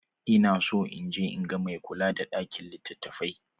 Ina so in je in ga mai kula da ɗakin litattafai.